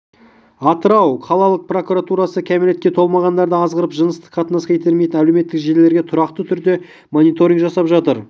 атырау қалалық прокуратурасы кәмелетке толмағандарды азғырып жыныстық қатынасқа итермелейтін әлеуметтік желілерге тұрақты түрде мониторинг жасап жатыр